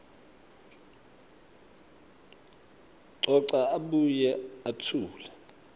coca abuye etfule